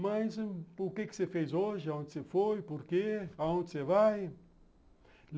Mas o que você fez hoje, onde você foi, por quê, aonde você vai?